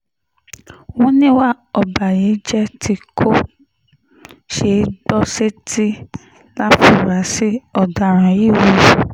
wọ́n níwà ọ̀bàyéjẹ́ tí kò ṣeé gbọ́ sétí láforasí ọ̀daràn yìí hù